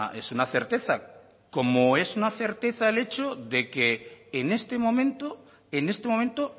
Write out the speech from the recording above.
es una certeza como es una certeza el hecho de que en este momento en este momento